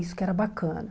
Isso que era bacana.